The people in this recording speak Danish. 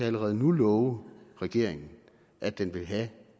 allerede nu love regeringen at den vil have